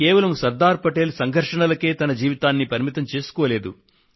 కేవలం శ్రీ సర్దార్ పటేల్ సంఘర్షణలకే తన జీవితాన్ని పరిమితం చేసుకోలేదు